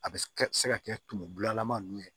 A bɛ se ka se ka kɛ tumu bulanama ninnu ye